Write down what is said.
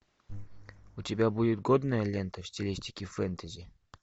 у тебя будет годная лента в стилистике фэнтези